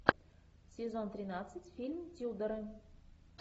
сезон тринадцать фильм тюдоры